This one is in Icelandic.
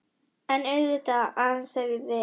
En auðvitað,- aðeins ef ég vildi.